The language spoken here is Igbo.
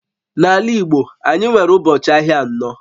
N'ala Igbo anyị nwere ụbọchị ahịa anọ